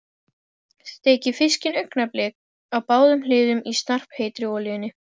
Steikið fiskinn augnablik á báðum hliðum í snarpheitri olíunni.